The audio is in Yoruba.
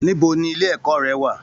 Níbo ní ilé ẹ̀kọ́ rẹ wà?